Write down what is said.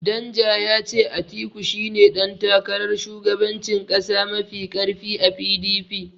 Danja ya ce Atiku shine ɗan takarar shugabancin ƙasa mafi ƙarfi a PDP.